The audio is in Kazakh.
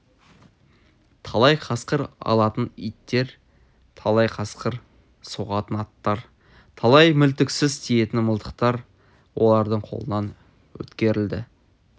талай қасқыр алатын иттер талай қасқыр соғатын аттар талай мүлтіксіз тиетін мылтықтар олардың қолынан өткерілді